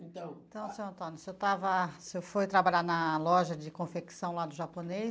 Então... Então senhor Antônio, o senhor estava, o senhor foi trabalhar na loja de confecção lá do japonês?